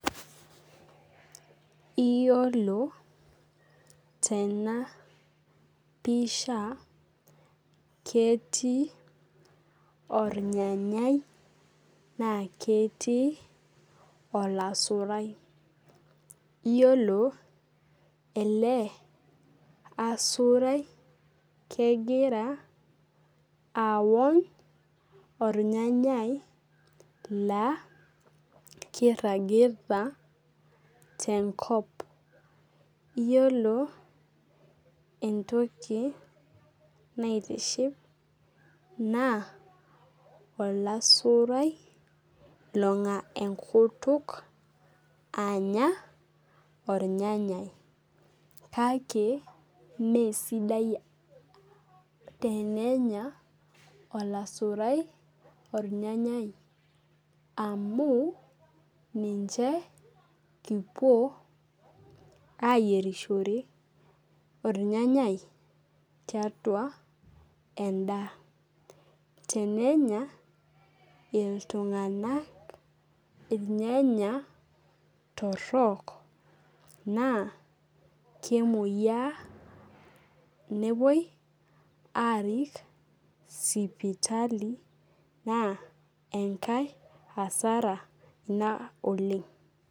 Iyiolo tena pisha ketii ornyanyai naa ketii olasurai. Iyiolo ele asurai kegira aony irnyanyai laa kiragita tenkop entoki naitiship naa olasurai long'a enkutuk anya ornyanyai. Kake mee sidai tenya olasurai ornyanyai amu ninche kipuo aiyierishore ornyanyai tiatua edaa. Tenenya oltung'ani irnyanya torok naa kemoia nepuoi arik sipitali naa enkae hasara ina oleng'.